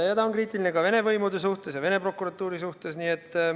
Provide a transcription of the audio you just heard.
Ja ta on kriitiline ka Vene võimude ja Vene prokuratuuri suhtes.